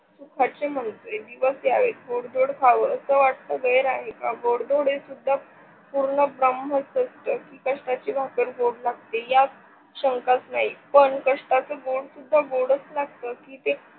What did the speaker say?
सुखाचे दिवस ध्यावे गोड धोंड खाव अस वाटत गैर आहे का गोड धोंड ही सुद्धा पूर्णब्रम्हच असत की कष्टाची भाकर गोड लागते यात काही शंकाच नाही पण कष्टच गोड सुद्धा गोडच लागत आणि ते